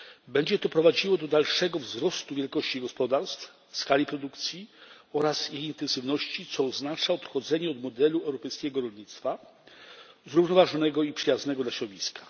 Będzie to prowadziło do dalszego wzrostu wielkości gospodarstw, skali produkcji oraz jej intensywności, co oznacza odchodzenie od modelu europejskiego rolnictwa zrównoważonego i przyjaznego dla środowiska.